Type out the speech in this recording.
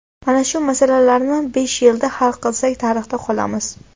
Mana shu masalalarni besh yilda hal qilsak tarixda qolamiz.